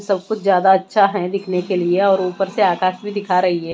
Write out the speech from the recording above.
सब कुछ ज्यादा अच्छा हैं दिखने के लिए और ऊपर से आकाश भी दिखा रही है।